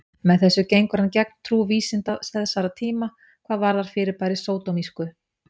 Með þessu gengur hann gegn trú vísinda þessara tíma hvað varðar fyrirbærið sódómísku.